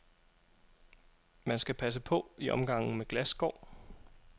Man skal passe på i omgangen med glasskår.